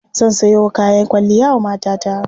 Zan sayo kayan kwalliya wa matata.